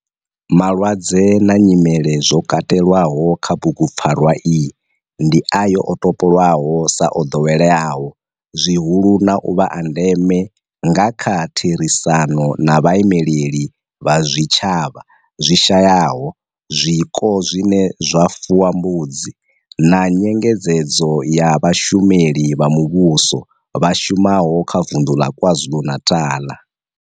Malwadze na nyimele zwo katelwaho kha bugupfarwa iyi ndi ayo o topolwaho sa o ḓoweleaho zwihulu na u vha a ndeme nga kha therisano na vhaimeleli vha zwitshavha zwi shayaho zwiko zwine zwa fuwa mbudzi na nyengedzedzo ya vhashumeli vha muvhusho vha shumaho kha vunḓu la KwaZulu-Natal.